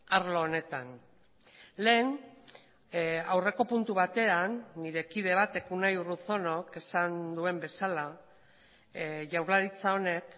arlo honetan lehen aurreko puntu batean nire kide batek unai urruzunok esan duen bezala jaurlaritza honek